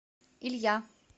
илья